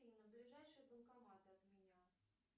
афина ближайший банкомат от меня